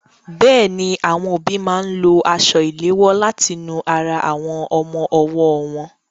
Bẹ́ẹ̀ni, àwọn òbí máa ń lo aṣọ ìléwọ láti nu ara àwọn ọmọ ọwọ́ wọn.